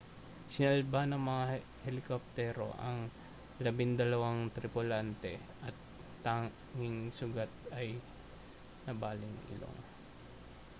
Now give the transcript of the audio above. sinalba ng mga helikoptero ang labindalawang tripulante at ang tanging sugat ay ang nabaling ilong